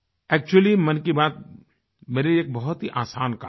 actually मन की बात मेरे लिए बहुत ही आसान काम है